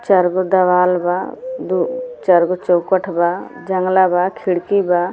चार गो दवाल बा दू चार गो चौखट बा जंगला बा खिड़की बा।